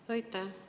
Aitäh!